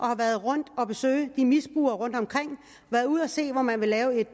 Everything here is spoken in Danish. har været rundt at besøge misbrugere rundtomkring og været ude at se hvor man vil lave